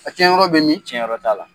A cɛn yɔrɔ bɛ min ? Cɛn yɔrɔ t'a la.